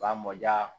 Ba mɔ ja